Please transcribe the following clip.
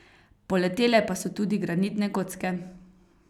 Poletele pa so tudi granitne kocke.